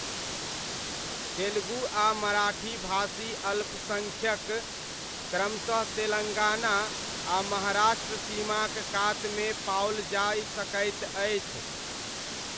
तेलुगु आ मराठी भाषी अल्पसङ्ख्यक क्रमशः तेलङ्गाना आ महाराष्ट्र सीमाक कातमे पाओल जाय सकैत अछि।